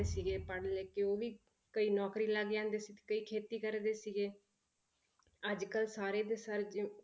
ਸੀਗੇ ਪੜ੍ਹ ਲਿਖ ਕੇ ਉਹ ਵੀ ਕਈ ਨੌਕਰੀ ਲੱਗ ਜਾਂਦੇ ਸੀ ਤੇ ਕਈ ਖੇਤੀ ਕਰਦੇ ਸੀਗੇ ਅੱਜ ਕੱਲ੍ਹ ਸਾਰੇ ਦੇ ਸਾਰੇ ਜੋ